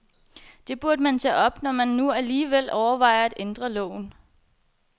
Det burde man tage op, når man nu alligevel overvejer at ændre loven.